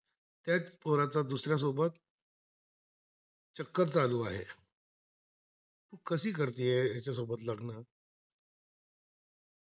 त्च्याया पोराचा दुसरासोब चक्कर चालू आह कशी करते याच्यासोबत लग्न?